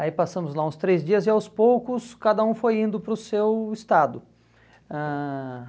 Aí passamos lá uns três dias e aos poucos cada um foi indo para o seu estado. Ãh